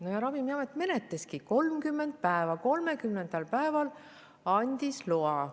No ja Ravimiamet menetleski 30 päeva, 30. päeval andis loa.